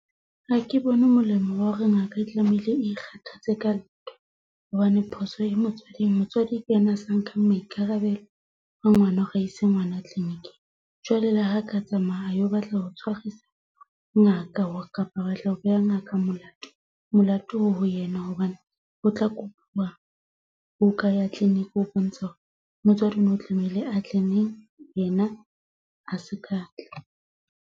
Ha ke bone molemo wa hore ngaka e tlamehile, ikgathatse ka ntho hobane phoso e motswading, motswadi ke yena a sa nka maikarabelo a ngwana. Hore a ise ngwana clinic-ing jwale le ha ka tsamaya alo batla ho tshwarisa ngaka, kapa batla ho beha ngaka molato molato o ho yena, hobane o tla kupuwa buka ya clinic ho bontsha hore motswadi ono tlameile a tle le yena, a se ka tla.